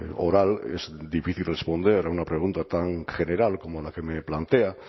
oral es difícil responder a una pregunta tan general como la que me plantea